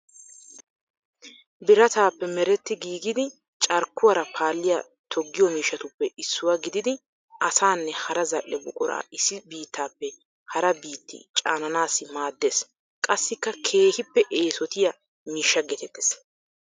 Birataape meretti giigidi carkkuwaara paalliya toggiyo miishshatuppe issuwa gididi asaanne hara zal''e buqura issi biittaappe hara biitti caananaassi maaddeees. Qassikka keehippe eesotiya miishsha geetettees.